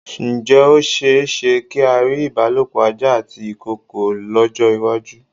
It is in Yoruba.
Ǹjẹ́ ó ṣe-éṣe kí á rí ìbálòpọ̀ ajá àti ìkoòkò lọ́jọ́-ìwájú?